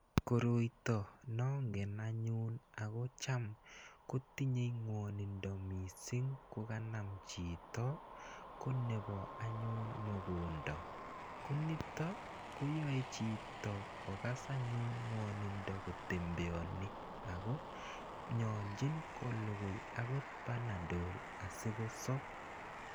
Koroito ne angen anyun ako cham ko tinyei mwanindo missing' ko kanam chito ko nepo anyun mogonda. Ko nito ko yae chito kokas anyun mwanindo kotembeani ako yache ko lugui panadol asikosap.